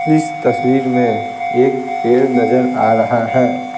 इस तस्वीर में एक पेड़ नजर आ रहा है।